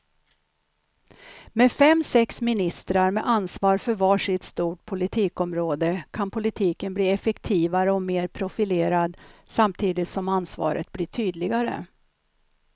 Med fem, sex ministrar med ansvar för var sitt stort politikområde kan politiken bli effektivare och mer profilerad samtidigt som ansvaret blir tydligare.